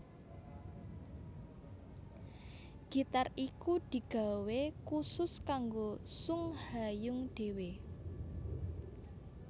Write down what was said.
Gitar iku digawé kusus kanggo Sung Ha Jung dhéwé